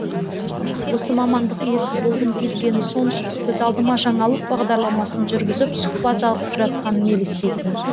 осы мамандық иесі болғым келгені сонша көз алдыма жаңалық бағдарламасын жүргізіп сұқбат алып жатқаным елестейтін